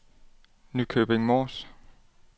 Nykøbing Mors